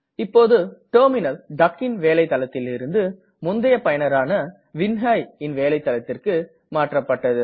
இப்போது டெர்மினல் duckன் வேலை தளத்தில் இருந்து முந்தய பயனரான vinhaiன் வேலை தளத்திற்கு மாற்றப்பட்டது